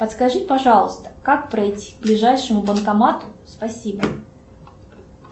подскажи пожалуйста как пройти к ближайшему банкомату спасибо